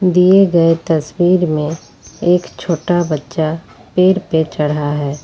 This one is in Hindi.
दिए गए तस्वीर में एक छोटा बच्चा पेड़ पे चढ़ा है।